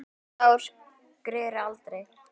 Það sár greri aldrei.